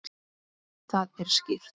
Það er skýrt.